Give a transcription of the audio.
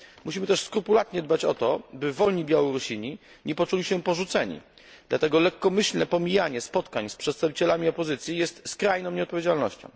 Musimy też skrupulatnie dbać o to, by wolni Białorusini nie poczuli się porzuceni, dlatego lekkomyślne pomijanie spotkań z przedstawicielami opozycji jest skrajną nieodpowiedzialnością.